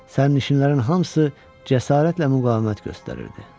Sərnişinlərin hamısı cəsarətlə müqavimət göstərirdi.